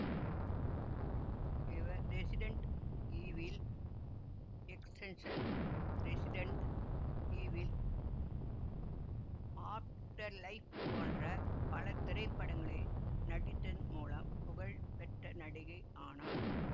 இவர் Resident Evil Extinction Resident Evil Afterlife போன்ற பல திரைப்படங்களில் நடித்தன் மூலம் புகழ் பெற்ற நடிகை ஆனார்